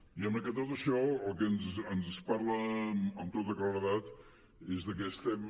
diguem ne que tot això del que ens parla amb tota claredat és de que estem